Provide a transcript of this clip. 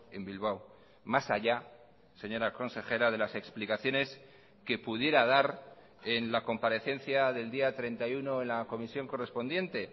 en bilbao más allá señora consejera de las explicaciones que pudiera dar en la comparecencia del día treinta y uno en la comisión correspondiente